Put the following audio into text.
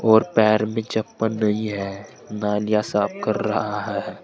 और पैर में चप्पल नहीं है नालियां साफ कर रहा है।